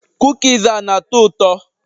Kukis a na-atọ ụtọ?